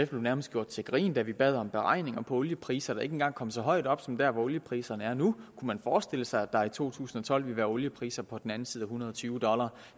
blev nærmest gjort til grin da vi bad om beregninger på oliepriser der ikke engang kom så højt op som der hvor oliepriserne er nu kunne man forestille sig at der i to tusind og tolv ville være oliepriser på den anden side hundrede og tyve dollar